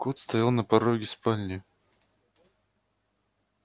кот стоял на пороге спальни